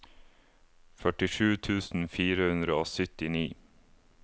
førtisju tusen fire hundre og syttini